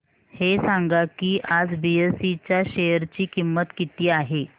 हे सांगा की आज बीएसई च्या शेअर ची किंमत किती आहे